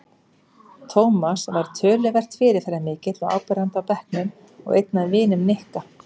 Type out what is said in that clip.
Tómas var töluvert fyrirferðarmikill og áberandi í bekknum og einn af vinum Nikka.